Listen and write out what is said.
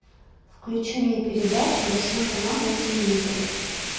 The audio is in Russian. включи мне передачу восьмой канал на телевизоре